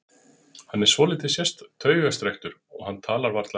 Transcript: Hann er svolítið taugastrekktur og hann talar varla ensku.